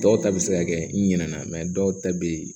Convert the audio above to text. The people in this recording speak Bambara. Dɔw ta bɛ se ka kɛ nyɛna dɔw ta bɛ yen